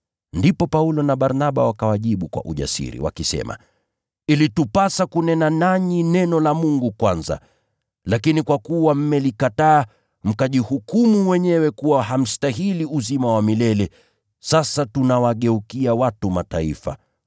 Ndipo Paulo na Barnaba wakawajibu kwa ujasiri, wakisema, “Ilitupasa kunena nanyi neno la Mungu kwanza. Lakini kwa kuwa mmelikataa, mkajihukumu wenyewe kuwa hamstahili uzima wa milele, sasa tunawageukia watu wa Mataifa.